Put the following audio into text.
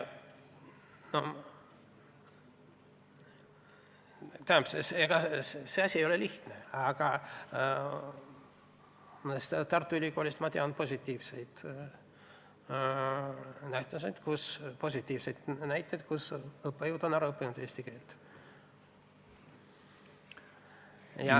See ei ole lihtne, aga Tartu Ülikoolist ma tean positiivseid näiteid selle kohta, et õppejõud on ära õppinud eesti keele.